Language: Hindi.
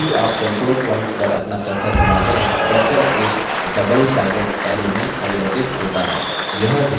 जैसे ही आप control point पर अपना cursor घुमाते हैं cursor एक doublesided arrow में परिवर्तित होता है